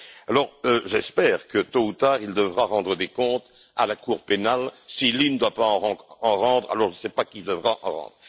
Alors, j'espère que, tôt ou tard, il devra rendre des comptes à la Cour pénale si lui ne doit pas en rendre, alors je ne sais pas qui devra en rendre.